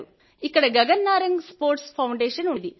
ఇక్కడ Gagan Narang sports foundation ఉంది